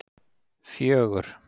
fjögur